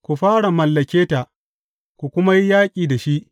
Ku fara mallake ta, ku kuma yi yaƙi da shi.